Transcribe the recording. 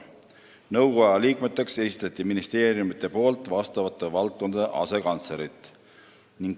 Nõukoja liikmeteks esitasid ministeeriumid vastavate valdkondade asekantslerid.